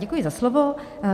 Děkuji za slovo.